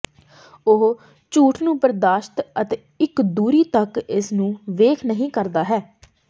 ਉਹ ਝੂਠ ਨੂੰ ਬਰਦਾਸ਼ਤ ਅਤੇ ਇੱਕ ਦੂਰੀ ਤੱਕ ਇਸ ਨੂੰ ਵੇਖ ਨਹੀ ਕਰਦਾ ਹੈ